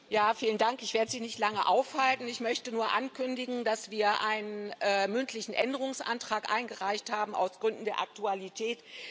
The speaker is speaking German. Herr Präsident! Ich werde Sie nicht lange aufhalten. Ich möchte nur ankündigen, dass wir einen mündlichen Änderungsantrag eingereicht haben aus Gründen der Aktualität.